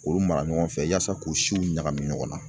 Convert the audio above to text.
K'olu mara ɲɔgɔn fɛ yaasa k'u siw ɲagami ɲɔgɔnna